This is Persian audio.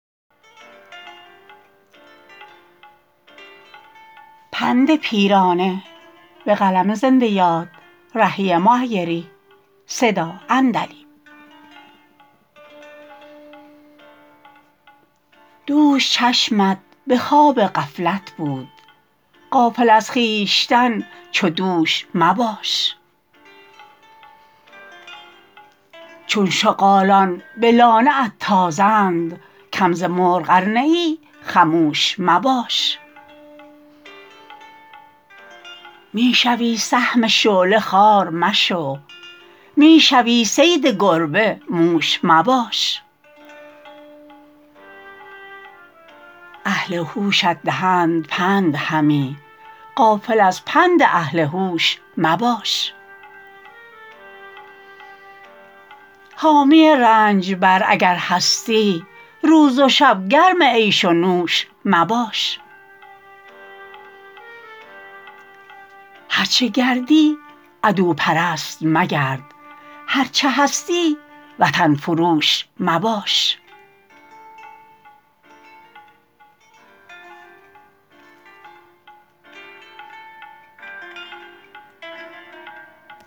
دوش چشمت به خواب غفلت بود غافل از خویشتن چو دوش مباش چون شغالان به لانه ات تازند کم ز مرغ ار نه ای خموش مباش می شوی سهم شعله خار مشو می شوی صید گربه موش مباش اهل هوشت دهند پند همی غافل از پند اهل هوش مباش حامی رنجبر اگر هستی روز و شب گرم عیش و نوش مباش هرچه گردی عدوپرست مگرد هرچه هستی وطن فروش مباش